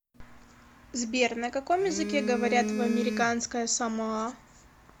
сбер на каком языке говорят в американское самоа